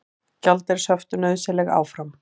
Gjaldeyrishöft nauðsynleg áfram